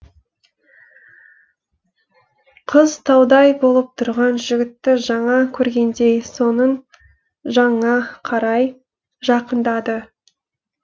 қыз таудай болып тұрған жігітті жаңа көргендей соның жанына қарай жақындады